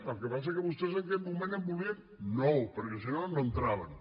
el que passa que vostès en aquest moment en volien nou perquè si no no entraven